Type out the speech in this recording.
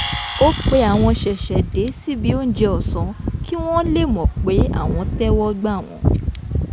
ó pe àwọn ṣẹ̀ṣẹ̀dé síbi óúnjẹ ọ̀sán kí wọ́n lè mọ̀ pé àwọn tẹ́wọ́ gbà wọ́n